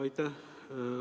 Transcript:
Aitäh!